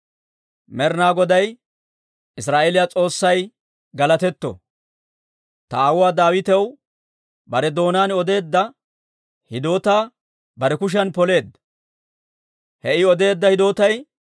«Med'inaa Goday Israa'eeliyaa S'oossay galatetto! Ta aawuwaa Daawitaw bare doonaan odeedda hidootaa bare kushiyan poleedda. He I odeedda hidootay,